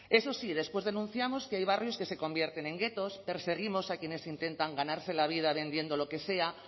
eso sí después denunciamos que hay barrios que se convierten en guetos perseguimos a quienes intentan ganarse la vida vendiendo lo que sea